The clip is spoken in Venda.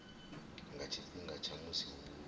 nga tshifhinga tsha musi hu